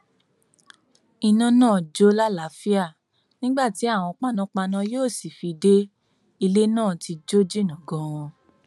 iná náà ń jó làlàáfíà nígbà tí àwọn panápaná yóò sì fi dé ilé náà ti jó jìnnà ganan ni